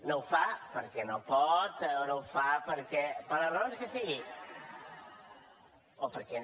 no ho fa perquè no pot o no ho fa per les raons que sigui o perquè